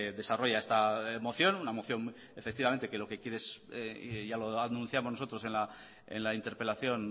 desarrolla esta moción una moción que efectivamente lo que quiere es ya lo anunciamos nosotros en la interpelación